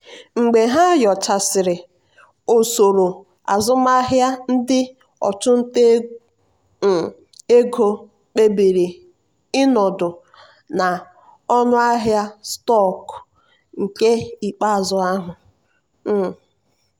mgbe ha nyochasịrị usoro azụmahịa ndị ọchụnta um ego kpebiri ịnọdụ na ọnụahịa stọkụ nke ikpeazụ ahụ. um